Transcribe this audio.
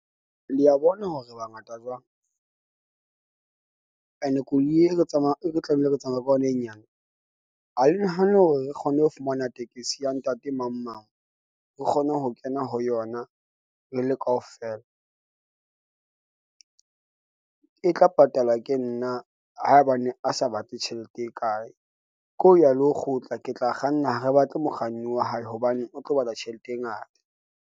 Le a bona hore re bangata jwang, ene koloi e re tsamaya, e ne re tlamehile re tsamaye ka yona e nyane. Ha le nahane hore re kgone ho fumana tekesi ya ntate mang mang. Re kgone ho kena ho yona, re le kaofela . E tla patalwa ke nna haebane a sa batle tjhelete e kae. Ke ho ya le ho kgutla. Ke tla kganna ha re batle mokganni wa hae, hobane o tlo batla tjhelete e ngata.